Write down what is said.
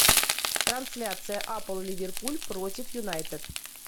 трансляция апл ливерпуль против юнайтед